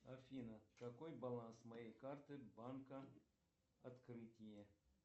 афина какой баланс моей карты банка открытие